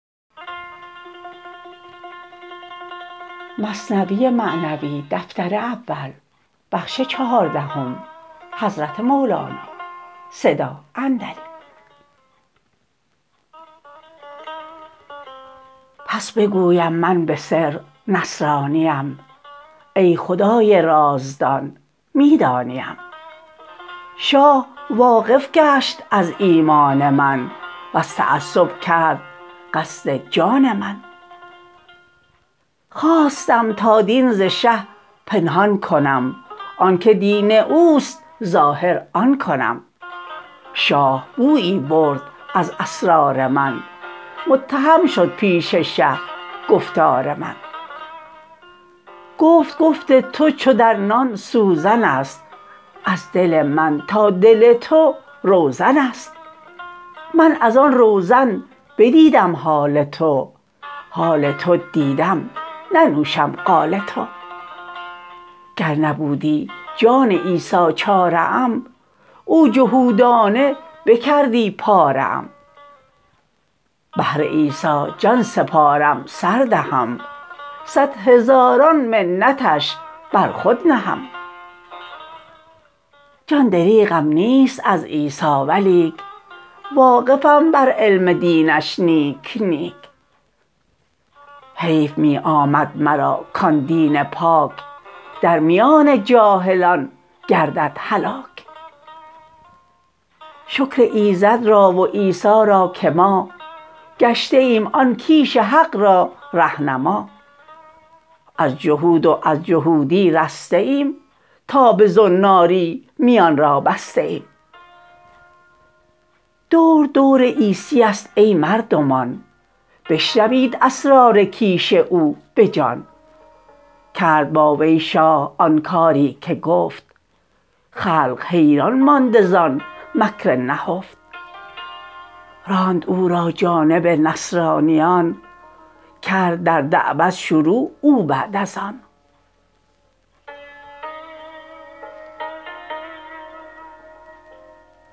پس بگویم من به سر نصرانیم ای خدای رازدان می دانیم شاه واقف گشت از ایمان من وز تعصب کرد قصد جان من خواستم تا دین ز شه پنهان کنم آنک دین اوست ظاهر آن کنم شاه بویی برد از اسرار من متهم شد پیش شه گفتار من گفت گفت تو چو در نان سوزنست از دل من تا دل تو روزنست من از آن روزن بدیدم حال تو حال تو دیدم ننوشم قال تو گر نبودی جان عیسی چاره ام او جهودانه بکردی پاره ام بهر عیسی جان سپارم سر دهم صد هزاران منتش بر خود نهم جان دریغم نیست از عیسی ولیک واقفم بر علم دینش نیک نیک حیف می آمد مرا کان دین پاک درمیان جاهلان گردد هلاک شکر ایزد را و عیسی را که ما گشته ایم آن کیش حق را ره نما از جهود و از جهودی رسته ایم تا به زناری میان را بسته ایم دور دور عیسیست ای مردمان بشنوید اسرار کیش او بجان کرد با وی شاه آن کاری که گفت خلق حیران مانده زان مکر نهفت راند او را جانب نصرانیان کرد در دعوت شروع او بعد از آن